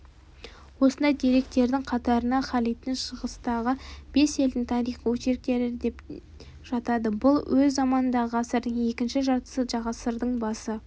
осындай деректердің қатарына халидтің шығыстағы бес елдің тарихы очерктері де жатады бұл өз заманындағы ғасырдың екінші жартысы ғасырдың басы